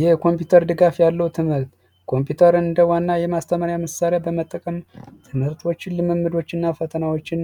የኮምፒውተር ድጋፍ ያለው ትምህርት ኮምፒውተር እንደ ዋና የማስተማሪያ ምሳሌ በመጠቀም ትምህርቶችን ልምምዶችና ፈተናዎችን